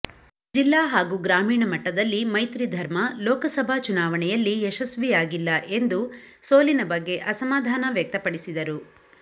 ಜಿಲ್ಲಾ ಹಾಗೂ ಗ್ರಾಮೀಣ ಮಟ್ಟದಲ್ಲಿ ಮೈತ್ರಿ ಧರ್ಮ ಲೋಕಸಭಾ ಚುನಾವಣೆಯಲ್ಲಿ ಯಶಸ್ವಿಯಾಗಿಲ್ಲ ಎಂದು ಸೋಲಿನ ಬಗ್ಗೆ ಅಸಮಾಧಾನ ವ್ಯಕ್ತಪಡಿಸಿದರು